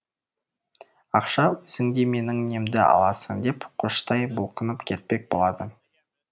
ақша өзіңде менің немді аласың деп қоштай бұлқынып кетпек болады